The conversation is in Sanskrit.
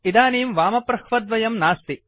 इदानीं वामप्रह्वद्वयं नास्ति